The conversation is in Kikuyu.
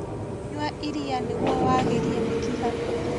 Nyua irĩa nĩguo wagĩrie mĩkiha